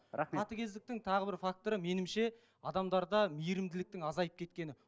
рахмет қатыгездіктің тағы бір факторы меніңше адамдарда мейірімділіктің азайып кеткені